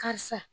Karisa